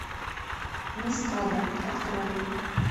мескада открой